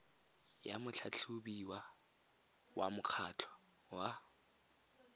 ya motlhatlhobiwa wa mokgatlho wa